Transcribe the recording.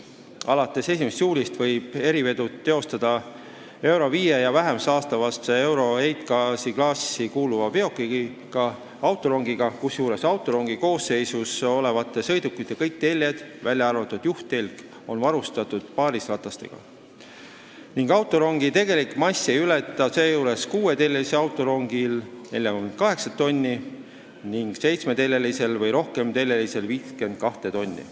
Alates 1. juulist võib erivedu teostada EURO V või vähem saastavasse EURO-heitgaasiklassi kuuluva veokiga, autorongiga, kusjuures autorongi koosseisus olevate sõidukite kõik teljed, välja arvatud juhttelg, on varustatud paarisratastega ning autorongi tegelik mass ei ületa seejuures 6-teljelise autorongi puhul 48 tonni ning 7- või rohkemateljelisel 52 tonni.